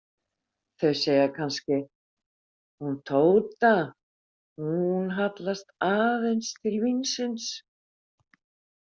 Þau segja kannski: hún Tóta, hún hallast aðeins til vínsins.